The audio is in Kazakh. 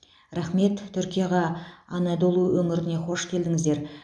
рахмет түркияға анадолу өңіріне хош келдіңіздер